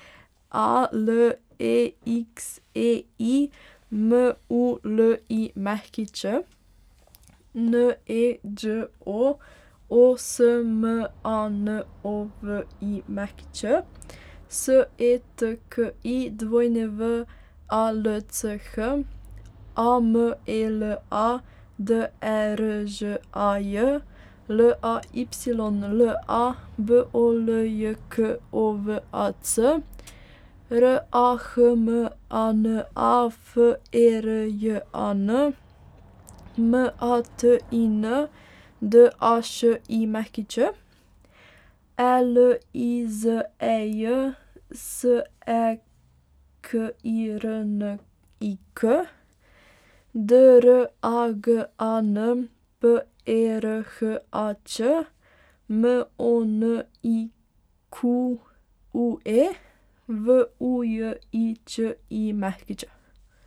A L E X E I, M U L I Ć; N E Đ O, O S M A N O V I Ć; S E T K I, W A L C H; A M E L A, D E R Ž A J; L A Y L A, B O L J K O V A C; R A H M A N A, F E R J A N; M A T I N, D A Š I Ć; E L I Z E J, S E K I R N I K; D R A G A N, P E R H A Č; M O N I Q U E, V U J I Č I Ć.